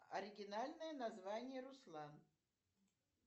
оригинальное название руслан